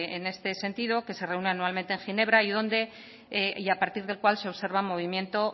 en este sentido que se reúne anualmente en ginebra y a partir del cual se observa el movimiento